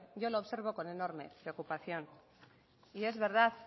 yo le observo con enorme preocupación y es verdad